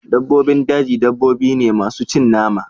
dabbobin daji dabbobi ne masu cin nama